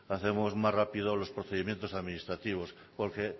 hacemos más rápidos los procedimientos administrativos porque